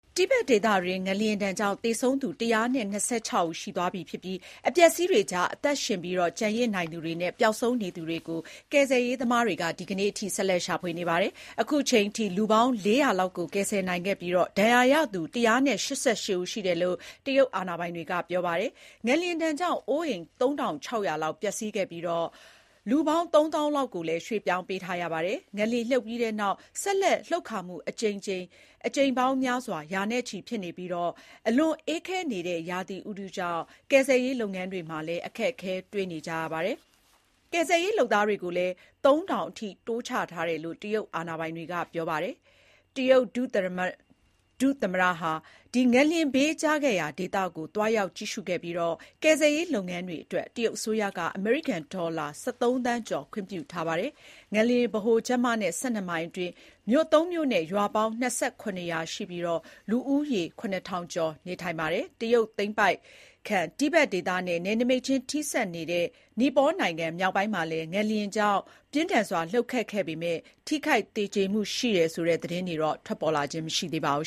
တိဘက်ဒေသအတွင်း ငလျင်ဒဏ်ကြောင့် သေဆုံးသူ ၁၂၆ ဦးရှိသွားပြီဖြစ်ပြီး အပျက်အစီးတွေကြား အသက်ရှင်လျက်ကျန်ရစ်နိုင်သူတွေနဲ့ ပျောက်ဆုံးနေသူတွေကို ကယ်ဆယ်ရေးသမားတွေက ဒီကနေ့ ဗုဒ္ဓဟူးနေ့အထိဆက်လက်ရှာဖွေနေ ပါတယ်။ အခုအချိန်အထိ လူ ၄၀၀ လောက်ကိုကယ်ဆယ်နိုင်ခဲ့ပြီး ဒဏ်ရာရသူ ၁၈၈ ဦးရှိတယ်လို့ တရုတ် အာဏာပိုင်တွေကပြော ပါတယ်။ ငလျင်ဒဏ်ကြောင့် အိုးအိမ် ၃,၆၀၀ လောက်ပျက်စီးခဲ့ပြီး လူ ၃၀,၀၀၀ လောက်ကိုလည်း ရွှေ့ပြောင်းပေးထားရပါတယ်။ ငလျင်လှုပ်ပြီးနောက် ဆက်လက်လှုပ်ခါမှု အကြိမ်ရေ ရာနဲ့ချီဖြစ်နေပြီး အလွန်အေးခဲနေတဲ့ရာသီဥတုကြောင့် ကယ်ဆယ်ရေးလုပ်ငန်းတွေမှာ အခက်တွေ့ကြရပါတယ်။ ကယ်ဆယ်ရေးလုပ်သားတွေကိုလည်း ၃,၀၀၀ အထိ တိုးချထားတယ်လို့ တရုတ်အာဏာပိုင်တွေကပြောပါတယ်။ တရုတ်ဒုသမ္မတ Zhang Guoqing ဟာ ငလျင်ဘေးကျခဲ့ရာဒေသကိုသွားရောက်ကြည့်ရှုခဲ့ပြီး ကယ်ဆယ်ရေးလုပ်ငန်းတွေအတွက် တရုတ်အစိုးရက အမေရိကန်ဒေါ်လာ ၁၃ သန်းကျော် ခွင့်ပြု ထားပါတယ်။ ငလျင်ဗဟိုချက်မနဲ့ ၁၂ မိုင်အတွင်း မြို့သုံးမြို့နဲ့ ရွာပေါင်း ၂၇ ရွာရှိပြီး လူဦးရေ ၇,၀၀၀ ကျော်နေထိုင်ပါတယ်။ တရုတ်သိမ်းပိုက်ခံ တိဘက်ဒေသနဲ့ နယ်နိမိတ်ချင်းထိစပ်နေတဲ့ နီပေါနိုင်ငံမြောက်ပိုင်းမှာလည်း ငလျင်ကြောင့် ပြင်းထန်စွာလှုပ်ခတ်ခဲ့ပေမယ့် ထိခိုက်သေကြေမှုရှိတယ်ဆိုတဲ့သတင်းမျိုးတော့ ထုတ်ပြန်တာမရှိသေးပါဘူ